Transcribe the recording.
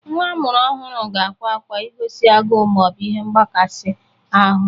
Nwa amụrụ ọhụrụ ga-akwa akwa igozi agụụ ma ọ bụ ihe ngbakasị ahụ.